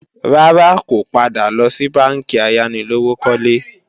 Rárá, kò padà lọ sí bánkì ayánilówókọ́lé